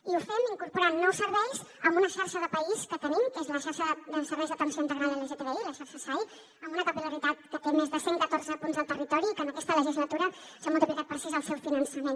i ho fem incorporant nous serveis a una xarxa de país que tenim que és la xarxa de serveis d’atenció integral lgtbi la xarxa sai amb una capil·laritat que té més de cent catorze punts al territori i que en aquesta legislatura s’ha multiplicat per sis el seu finançament